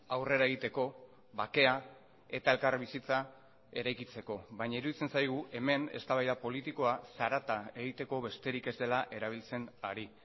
aurrera egiteko bakea eta elkarbizitza eraikitzeko baina iruditzen zaigu hemen eztabaida politikoa zarata egiteko besterik ez dela erabiltzen ari